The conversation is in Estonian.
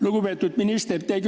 Lugupeetud minister!